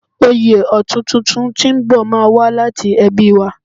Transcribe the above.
Oyè ọ̀tún tuntun tí ń bò má a wá láti ẹbí wa